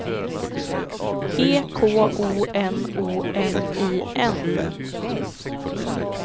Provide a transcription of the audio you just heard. E K O N O M I N